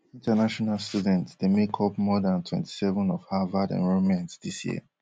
international students dey make up more dan twenty-seven of harvard enrolment dis year